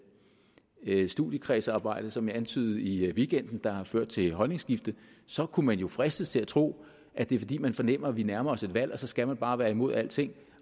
ikke er studiekredsarbejde som jeg antydede i weekenden der har ført til et holdningsskifte så kunne man jo fristes til at tro at det er fordi man fornemmer at vi nærmer os et valg og så skal man bare være imod alting